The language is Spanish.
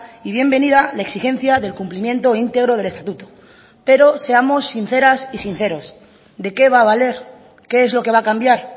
y bienvenida la exigencia del cumplimiento íntegro del estatuto pero seamos sinceras y sinceros de qué va a valer qué es lo que va a cambiar